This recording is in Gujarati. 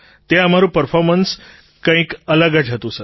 ત્યાં અમારું પર્ફૉર્મન્સ કંઈક અલગ જ હતું